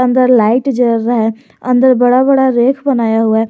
अंदर लाइट जल रहा है अंदर बड़ा बड़ा रैक बनाया हुआ है।